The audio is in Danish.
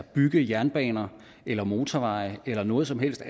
bygge jernbaner eller motorveje eller noget som helst